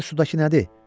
Gör sudakı nədir?